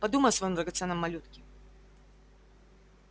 подумай о своём драгоценном малютке